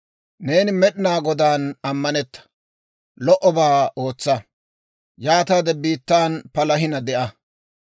Neeni Med'inaa Godaan ammanetta; lo"obaa ootsa. Yaataade biittan palahina de'a.